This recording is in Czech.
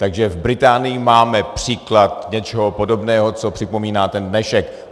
Takže v Británii máme příklad něčeho podobného, co připomíná ten dnešek.